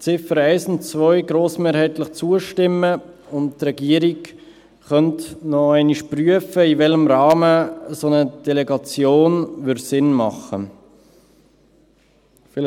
Ziffern 1 und 2 grossmehrheitlich zustimmen, und die Regierung könnte noch einmal prüfen, in welchem Rahmen eine solche Delegation Sinn machen würde.